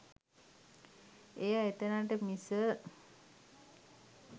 එය එතැනට මිස